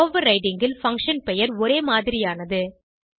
overriding ல் function பெயர் ஒரே மாதிரியானது